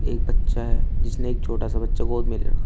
एक बच्चा है जिसने एक छोटा सा बच्चा गोद में ले रखा है।